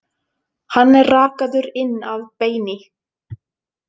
Hann er rakaður inn að beini.